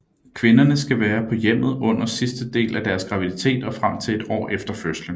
Kvinderne skal være på hjemmet under sidste del af deres graviditet og frem til et år efter fødslen